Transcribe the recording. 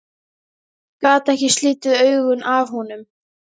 Gat ekki slitið augun af honum.